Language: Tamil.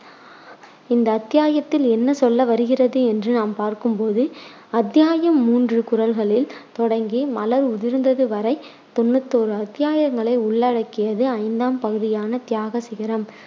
இந்த அத்தியாயத்தில் என்ன சொல்கிறது என்று பார்க்கும் போது அத்தியாயம் மூன்று குரல்களில் தொடங்கி மலர் உதிர்ந்தது வரை தொண்ணுத்தி ஓரு அத்தியாயங்களை உள்ளடக்கியது ஐந்தாம் பகுதியான தியாக சிகரம்.